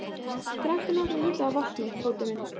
Drekktu nokkra lítra af vatni, Tóti minn.